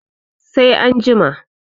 sai an jima